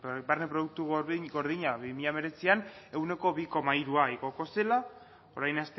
barne produktu gordina bi mila hemeretzian ehuneko bi koma hirua igoko zela orain